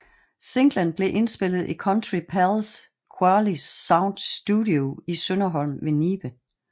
Singlen blev indspillet i Country Palles Quali Sound studie i Sønderholm ved Nibe